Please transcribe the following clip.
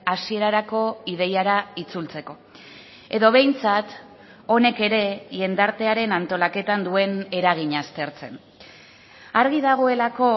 hasierarako ideiara itzultzeko edo behintzat honek ere jendartearen antolaketan duen eragina aztertzen argi dagoelako